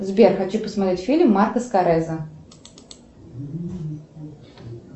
сбер хочу посмотреть фильм марко скореза